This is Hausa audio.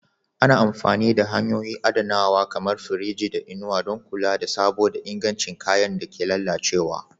Ana amfani da hanyoyin adanawa kamar firiji da inuwa don kula da sabo da ingancin kayan da ke lalacewa.